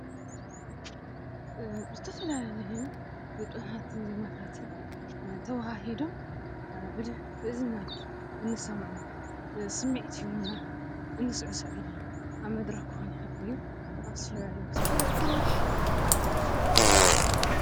ብዝተፈላለዩ ግጥሚታትን ዜማታትን ተዋሃህዱ ብእ ብእዝንና እንሰምዖ ስሚዒት ሂቡና እንስዕሰዓሉ ኣብ መድረኽ ክኾን ይኽእል እዩ ።ኣብ ዝተፈላለዩ ቦታታት እንታይ ይብሃል።